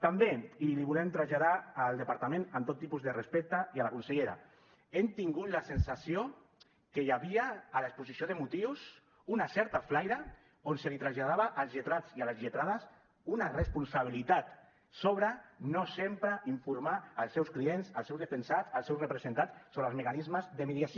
també i l’hi volem traslladar al departament amb tot tipus de respecte i a la consellera hem tingut la sensació que hi havia a l’exposició de motius una certa flaire on es traslladava als lletrats i a les lletrades una responsabilitat sobre no sempre informar els seus clients els seus defensats els seus representats sobre els mecanismes de mediació